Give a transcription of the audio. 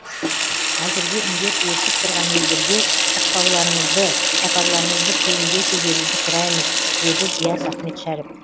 әзірге індет өршіп тұрған елдерге шықпауларыңызды сапарларыңызды кейінге шегеруді сұраймыз деді диас ахметшәріп